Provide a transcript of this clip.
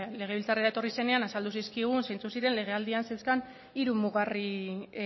legebiltzarrera etorri zenean azaldu zizkigun zeintzuk ziren legealdiak zeuzkan hiru mugarri